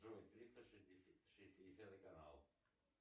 джой триста шестьдесятый канал